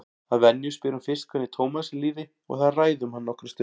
Að venju spyr hún fyrst hvernig Tómasi líði og þær ræða um hann nokkra stund.